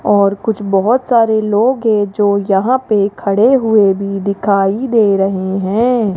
और कुछ बहुत सारे लोग हैं जो यहां पे खड़े हुए भी दिखाई दे रहे हैं।